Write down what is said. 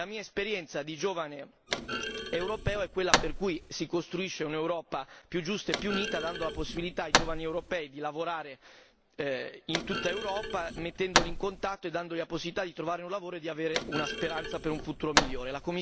La mia esperienza di giovane europeo è quella per cui si costruisce un'Europa più giusta e più unita dando la possibilità ai giovani europei di lavorare in tutta Europa mettendoli in contatto e dando loro la possibilità di trovare un lavoro e di avere una speranza per un futuro migliore.